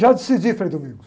Já decidi, Frei Domingos.